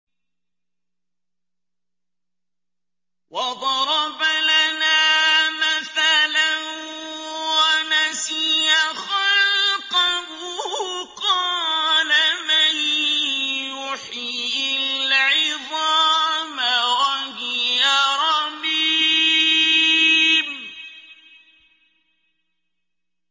وَضَرَبَ لَنَا مَثَلًا وَنَسِيَ خَلْقَهُ ۖ قَالَ مَن يُحْيِي الْعِظَامَ وَهِيَ رَمِيمٌ